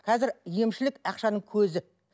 қазір емшілік ақшаның көзі